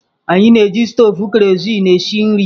Anyị na-eji stovu kerosene esi nri.